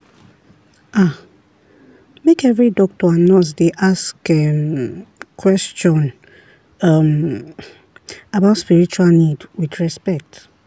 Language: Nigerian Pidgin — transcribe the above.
ah make every doctor and nurse dey ask um question um about spiritual need with respect.